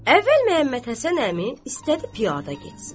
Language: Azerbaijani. Əvvəl Məhəmməd Həsən əmi istədi piyada getsin.